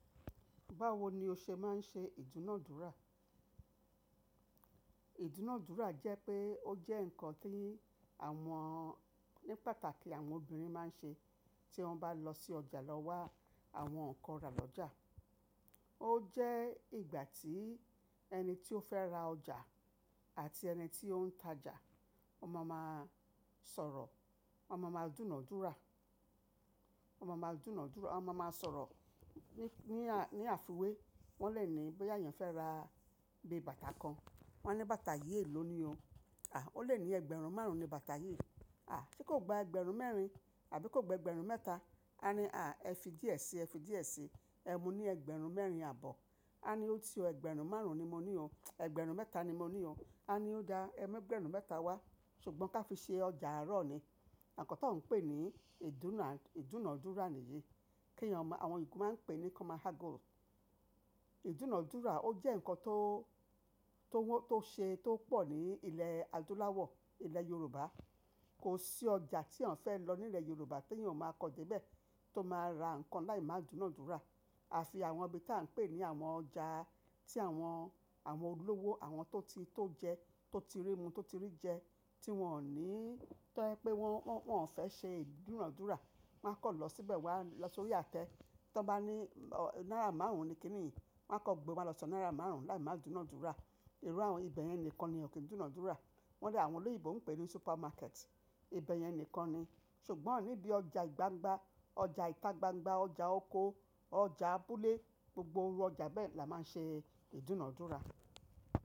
Báwo ni o ṣe máa ń ṣe ìdúnàádúrà? Ìdúnàádúrà jẹ́ pé ó jẹ́ ǹkan tí àwọn, ní pàtàkì àwọn obìnrin máa ń ṣe tí wọ́n bá lọ sí ọjà lọ wá àwọn nǹkan ra lọ́jà. Ó jẹ́ ìgbà tí ẹni tí ó fẹ́ ra ọjà àti ẹni tí ó ń ta ọjà, wọ́n máa máa sọ̀rọ̀, wọ́n máa máa dúnàádúrà, wọ́n máa máa dúnàádúrà, wọ́n máa máa sọ̀rọ̀ ní, ní àìfìwé. Wọ́n lè ní bí eyàn fẹ́ ra gbé bàtà kan, wọ́n ní bàtà yìí lò ní o. À, ó lè ní ẹgbẹ̀rún márùn-ún ni bàtà yìí. À, ṣe kò gba ẹgbẹ̀rún mẹ́rin àbí kò gba ẹgbẹ̀rún mẹ́ta? A ní à, ẹ fi díẹ̀ síi, ẹ fi díẹ̀ síi. Ẹ mu ní ẹgbẹ̀rún mẹ́rin àbọ̀. A ní ó ti o, ẹgbẹ̀rún márùn-ún ni mo ní o. Ẹgbẹ̀rún mẹ́ta ni mo ní o. A ní ó dá ẹgbẹ̀rún mẹ́ta wá, ṣùgbọ́n ká fi ṣe ọjà àárọ̀ ni. Ǹkan tó ń pè ní ìdúnà, ìdúnàádúrà nìyí. Kí eyán mọ, àwọn eyan máa ń pè ní "common haggle". Ìdúnàádúrà ó jẹ́ ǹkan tó, tó wọ́, tó ṣe, tó pọ̀ ní ilẹ̀ adúláwọ̀, ilẹ̀ Yorùbá. Kò sí ọjà tí àǹfẹ́ lọ nílẹ̀ Yorùbá tí èèyàn máa kọjá ibẹ̀ tó máa ra nǹkan láì máa dúnàádúrà. Àfi àwọn ibi tí à ń pè ní àwọn ọjà tí àwọn, àwọn olówó, àwọn tó ti, tó jẹ, tó ti rí mu, tó ti rí jẹ, tí wọ́n ò ní tẹ́ pé wọ́n, wọ́n ò fẹ́ ṣe ìdúnàádúrà. Wọ́n á kọ̀ lọ síbẹ̀ wá lọ sórí àtẹ. Tí wọ́n bá ní, ò, náírà márùn-ún ni kíni yìí, wọ́n á kọ́ gbe wa lọ sọ náírà márùn-ún láì máa dúnàádúrà. Irú àwọn ibẹ̀ yẹn nìkan ni kò kí n dúnàádúrà. Wọ́n rí àwọn olóyèbo ń pè ní supermarket. Ibẹ̀ yẹn nìkan ni. Ṣùgbọ́n níbí ọjà ìgbagba, ọjà ìta gbangba, ọjà oko, ọjà abúlé, gbogbo irú ọjà bẹ́ẹ̀ la máa ń ṣe ìdúnàádúrà.